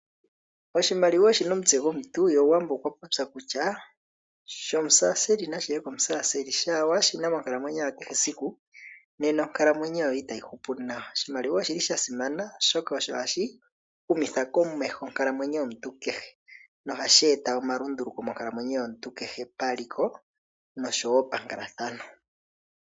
Oshimaliwa oshi na omutse gomuntu ye Omuwambo okwa popya kutya shOmukeesali nashi ye kOmukeesali. Shaa wa shi na monkalamwenyo ya kehe esiku, nena onkalamwenyo yoye itayi hupu nawa. Oshimaliwa osha simana, oshoka ohashi humitha komeho onkalamwenyo yomuntu kehe. Nohashi eta omalunduluko monkalamwenyo yomuntu kehe, paliko nosho wo pankalathano.